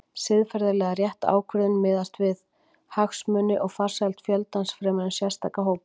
Siðferðilega rétt ákvörðun miðast því við hagsmuni og farsæld fjöldans fremur en sérstakra hópa.